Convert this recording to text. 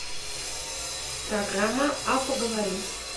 программа а поговорить